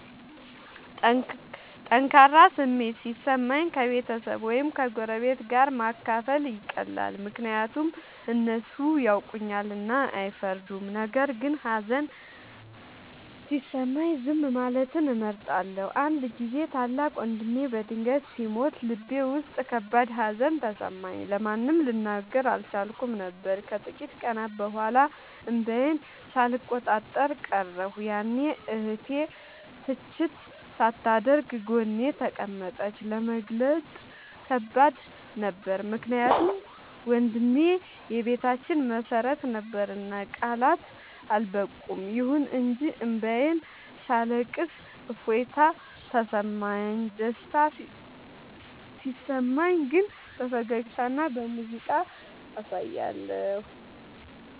ጠንካራ ስሜት ሲሰማኝ ከቤተሰብ ወይም ከጎረቤት ጋር ማካፈል ይቀላል፤ ምክንያቱም እነሱ ያውቁኛልና አይፈርዱም። ነገር ግን ሀዘን ሲሰማኝ ዝም ማለትን እመርጣለሁ። አንድ ጊዜ ታላቅ ወንድሜ በድንገት ሲሞት ልቤ ውስጥ ከባድ ሀዘን ተሰማኝ፤ ለማንም ልናገር አልቻልኩም ነበር። ከጥቂት ቀናት በኋላ እንባዬን ሳልቆጣጠር ቀረሁ፤ ያኔ እህቴ ትችት ሳታደርግ ጎኔ ተቀመጠች። ለመግለጽ ከባድ ነበር ምክንያቱም ወንድሜ የቤታችን መሰረት ነበርና ቃላት አልበቁም። ይሁን እንጂ እንባዬን ሳለቅስ እፎይታ ተሰማሁ። ደስታ ሲሰማኝ ግን በፈገግታና በሙዚቃ አሳያለሁ።